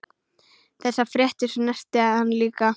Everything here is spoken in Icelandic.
Þessar fréttir snerta hann líka.